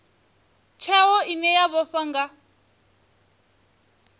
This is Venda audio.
tsheo ine ya vhofha nga